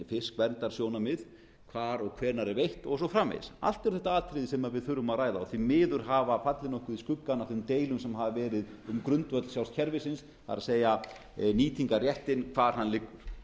fiskverndarsjónarmið hvar og hvenær er veitt og svo framvegis allt eru þetta atriði sem við þurfum að ræða og því miður hafa fallið nokkuð í skuggann af þeim deilum sem hafa verið um grundvöll sjálfs kerfisins það er nýtingarréttinn hvar hann liggur